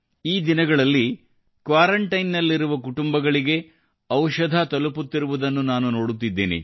ಈ ದಿನಗಳಲ್ಲಿ ಕ್ವಾರಂಟೈನ್ ನಲ್ಲಿರುವ ಕುಟುಂಬಗಳಿಗೆ ಔಷಧ ತಲುಪುತ್ತಿರುವುದನ್ನು ನಾನು ನೋಡುತ್ತಿದ್ದೇನೆ